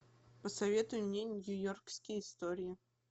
посоветуй мне нью йоркские истории